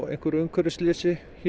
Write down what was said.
umhverfisslysi